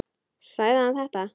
Sagði hann þetta?